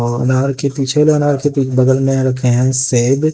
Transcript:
और अनार के पीछे वाले अनार बगल में रखे हैं सेब--